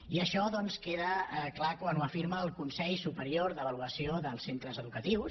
i això doncs queda clar quan ho afirma el consell superior d’avaluació dels centres educatius